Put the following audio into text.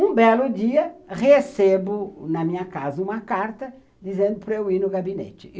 Um belo dia, recebo na minha casa uma carta dizendo para eu ir no gabinete.